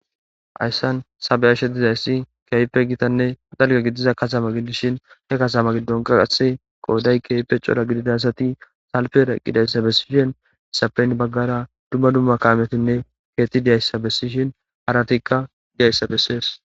Hayssan tha be7ashe dizayssi keehippe gitanne dalga gidiza katama giddishin he katama giddon qaqase qooday keeype cora gididasati salpera gidayssa bessishen isapeyn baggara dumma dumma kaamotinne keetti diyayssa bessishin haratikka diyayssa bessees.